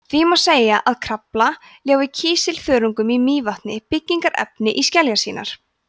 því má segja að krafla ljái kísilþörungum í mývatni byggingarefni í skeljar sínar